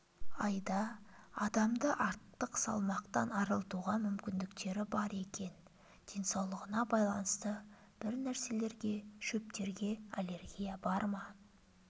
айда адамды артық салмақтан арылтуға мүмкіндіктері бар екен денсаулығына байланысты бірнәрселереге шөптерге аллергия бар ма